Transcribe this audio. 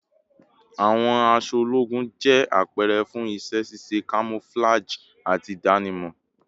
Awọn aṣọ ologun jẹ apẹrẹ fun iṣẹ ṣiṣe, camouflage, ati idanimọ